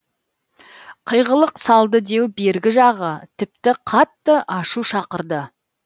қиғылық салды деу бергі жағы тіпті қатты ашу шақырды